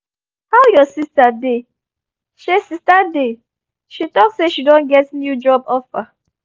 how your sister dey? she sister dey? she talk say she don get new job offer